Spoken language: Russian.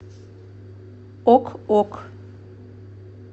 ок ок